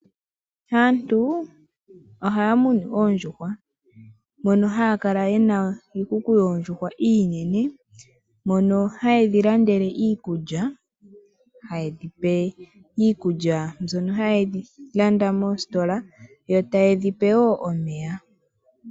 Aantu ohaamunu oondjuhwa mono haakala yena iikuku yoondjuhwa iinene, ndhono haye dhilandele iikulya. Hayedhipe iikulya mbyono hayeyi landa moositola yo tayedhipe woo omeya.